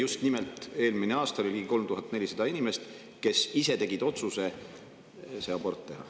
Ja kinnitada ka seda, et eelmine aasta oli ligi 3400 inimest, kes ise tegid otsuse aborti teha.